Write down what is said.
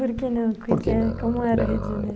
Por que não como era o Rio de Janeiro? Porque não, não